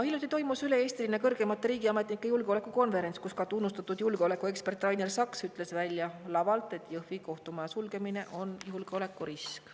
Hiljuti toimus üle-eestiline kõrgemate riigiametnike julgeolekukonverents, kus ka tunnustatud julgeolekuekspert Rainer Saks ütles lavalt välja, et Jõhvi kohtumaja sulgemine on julgeolekurisk.